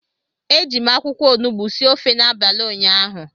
Eji m akwụkwọ onugbu sie ofe n'abalị ụnyaahụ